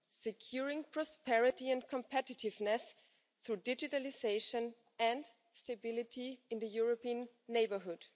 securing prosperity and competitiveness through digitalisation and stability in the European neighbourhood.